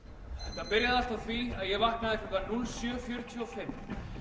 þetta byrjaði allt á því að ég vaknaði klukkan núll sjö fjörutíu og fimm